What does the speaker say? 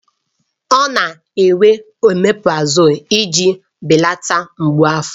Ọ na-ewere oméprazolú iji belata mgbu afọ